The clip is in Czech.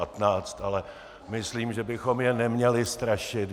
Ale myslím, že bychom je neměli strašit.